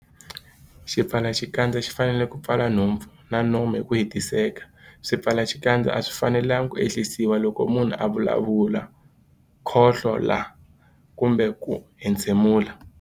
Xipfalaxikandza xi fanele ku pfala nhompfu na nomo hi ku hetiseka. Swipfalaxikandza a swi fanelanga ku ehlisiwa loko munhu a vulavula, khohlola kumbe ku entshemula.